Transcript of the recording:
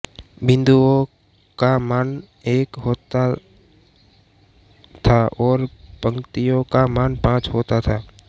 बिन्दुओं का मान एक होता था और पंक्तियों का मान पांच होता था